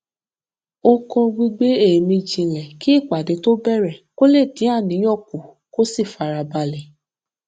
ó kọ gbígbé èémí jinlẹ kí ìpàdé tó bẹrẹ kó lè dín àníyàn kù kó sì fara balẹ